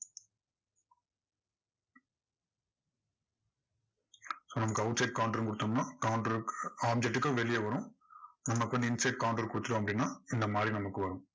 so நமக்கு outside counter கொடுத்தோம்னா counter க்கு object க்கு வெளியே வரும். நம்ம இப்போ inside counter கொடுத்துட்டோம் அப்படின்னா, இந்த மாதிரி நமக்கு வரும்.